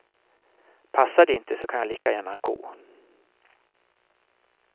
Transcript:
Passar det inte så kan jag lika gärna gå.